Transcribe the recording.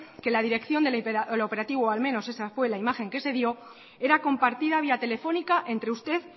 que la dirección del operativo o al menos esa fue la imagen que se dio era compartida vía telefónica entre usted